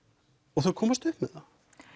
og þeir komast upp með það